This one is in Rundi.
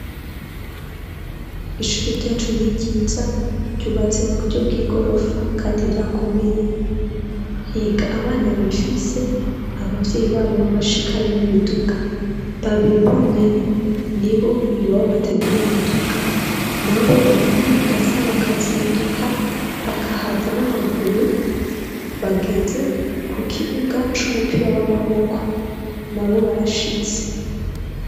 Ishuri ryacu n'ibyiza ryubatse mu buryo bw'igorofa kandi ryakomeye, higa abana bifise ababyeyi babo babashikana n'imiduga, babiri bonyene ni bo iwabo batagira imiduga na bo baranyaragasa bakazinduka bakahaza n'amaguru, bageze ku kibuga c'umupira w'amaboko na bo barashitse.